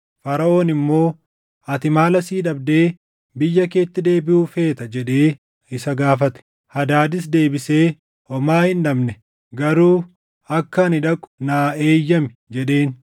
Faraʼoon immoo, “Ati maal asii dhabdee biyya keetti deebiʼuu feeta?” jedhee isa gaafate. Hadaadis deebisee, “Homaa hin dhabne; garuu akka ani dhaqu naa eeyyami!” jedheen.